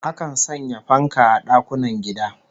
Akan sanya fanka a dakunan gida